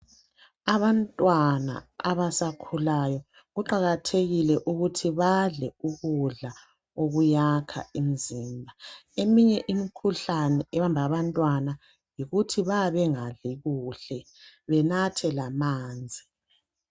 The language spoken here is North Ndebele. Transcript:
Abantwana abasakhulayo kuqakathekile ukuthi badle ukudla okuyakha imzimba eminye imkhuhlane ebamba abantwana yikuthi bayabe bengadli kuhle benathe lamanzi